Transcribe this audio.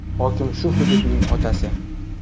Hokim shu hududning otasi.